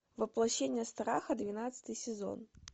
воплощение страха двенадцатый сезон